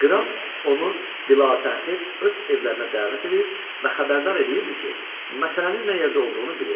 Qraf onu bilə-təxir öz evlərinə dəvət edir və xəbərdar eləyirdi ki, məsələnin nə yerdə olduğunu bilir.